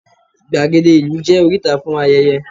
igbagede ìlú je oríta fún ayẹyẹ